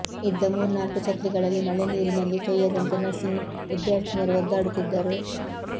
ಇದ್ದ ಮೂರ್ನಾಲ್ಕು ಛತ್ರಿಗಳಲ್ಲಿ ಮಳೆ ನೀರಿನಲ್ಲಿ ತೊಯ್ಯದಂತೆ ನರ್ಸಿಂಗ್ ವಿದ್ಯಾರ್ಥಿನಿಯರು ಒದ್ದಾಡುತ್ತಿದ್ದರು